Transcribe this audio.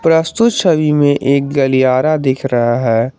प्रस्तुत छवि में एक गलियारा दिख रहा है।